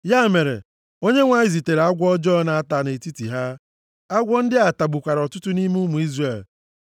Ya mere, Onyenwe anyị zitere agwọ ọjọọ na-ata ata nʼetiti ha. Agwọ ndị a tagbukwara ọtụtụ nʼime ụmụ Izrel.